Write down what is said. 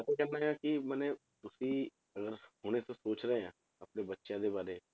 ਮੈਂ ਤੇ ਕਹਿੰਦਾ ਹਾਂ ਕਿ ਮਨੇ ਤੁਸੀਂ ਅਗਰ ਹੁਣੇ ਤੋਂ ਸੋਚ ਰਹੇ ਆਂ ਆਪਣੇ ਬੱਚਿਆਂ ਦੇ ਬਾਰੇ